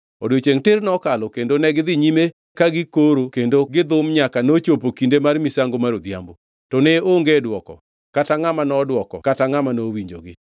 Odiechiengʼ tir nokalo kendo negidhi nyime ka gikoro kendo gidhum nyaka nochopo kinde mar misango mar odhiambo. To ne onge dwoko, kata ngʼama nodwoko kata ngʼama nowinjogi.